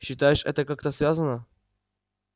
считаешь это как-то связано